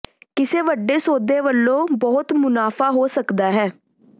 ਕਿਸੇ ਵੱਡੇ ਸੌਦੇ ਵਲੋਂ ਬਹੁਤ ਮੁਨਾਫ਼ਾ ਹੋ ਸਕਦਾ ਹੈ